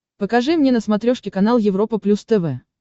покажи мне на смотрешке канал европа плюс тв